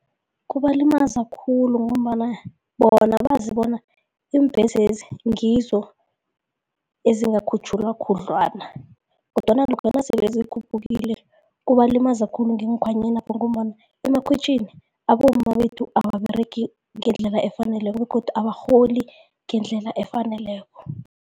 Kubalimaza khulu ngombana bona bazibona iimbhesezi ngizo ezingatjhuguluka khudlwana kodwana lokha nasele zikhuphukile kubalimaza khulu ngeenkhwanyenapha ngombana emakhwitjhini abomma bethu ababeregi ngendlela efaneleko begodu abarholi ngendlela efaneleko.